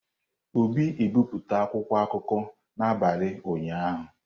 Obi ebipụta akwụkwọ akụkọ n'abalị ụnyaahụ.